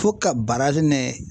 Fo ka ni